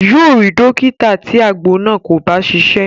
Yóò rí dọ́kítà tí àgbo náà kò bá ṣiṣẹ́.